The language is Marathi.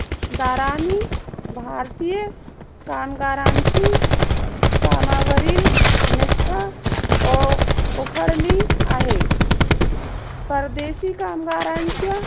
दाराने भारतीय कामगारांची कामावरील निष्ठा ओ ओखळली आहे. परदेसी कामगारांच्या